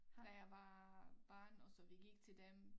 Da jeg var barn og så vi gik til dem